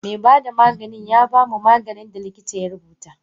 Me bada Maganin yabamu maganin da likita ya rubuta.